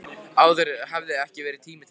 Áður hafði ekki verið tími til þess.